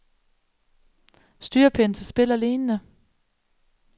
Styrepind til spil og lignende.